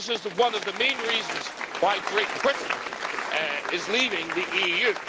This is one of the main reasons why Great Britain is leaving the EU.